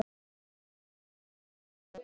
. þú mátt vera sáttur með það.